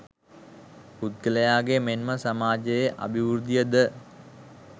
පුද්ගලයාගේ මෙන්ම සමාජයේ අභිවෘද්ධිය ද